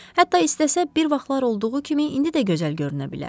Hətta istəsə, bir vaxtlar olduğu kimi indi də gözəl görünə bilər.